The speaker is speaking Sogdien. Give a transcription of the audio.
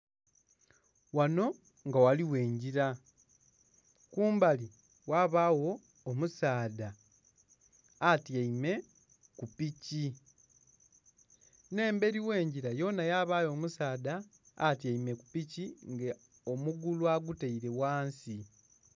Ghanho nga ghaligho engila kumbali ghabagho omusaadha atyaime ku piki nhe emberi ghe ngila yonha yabayo omusaadha atyaime ku piki nga omugulu agitaire ghansi.